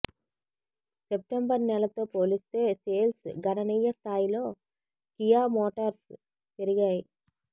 September నెలతో పోలిస్తే sales గణనీయ స్థాయిలో కియా మోటార్స్ పెరిగాయి